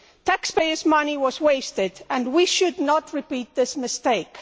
Taxpayers' money was wasted and we should not repeat this mistake.